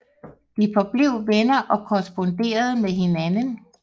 De forblev venner og korresponderede med hinanden